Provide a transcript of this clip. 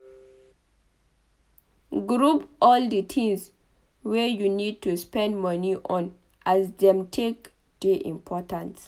Group all di things wey you need to spend moni on as dem take dey important